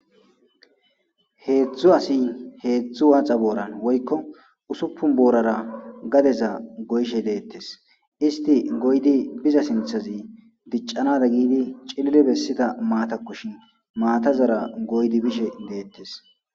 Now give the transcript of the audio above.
Heedzdzu asin heedzdzu waaxa booran woykko usuppun boorara gadeza goyshe deettes isti goydi biza sinthazi diccanada giidi cilile bessida maatakkushin maatazara goydi bishe deettes